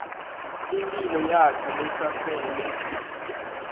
imphilo yakhe lesasele